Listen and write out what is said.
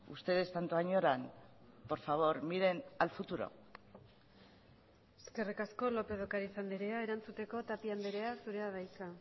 ustedes tanto añoran por favor miren al futuro eskerrik asko lópez de ocariz andrea erantzuteko tapia andrea zurea da hitza